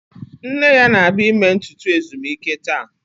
Nne ya na-abịa ime ntutu ezumike taa